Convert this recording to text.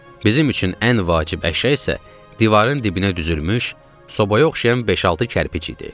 Bizim üçün ən vacib əşya isə divarın dibinə düzülmüş sobaya oxşayan beş-altı kərpic idi.